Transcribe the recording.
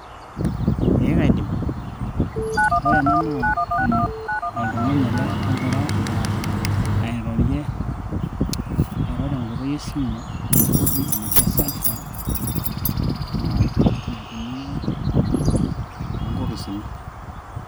ee kaidim. ore ena naa, oltungani ele ogira airorie ,ee airo te nkoitoi e simu enoshi naji cellphone, naitumiyae tok nkoposini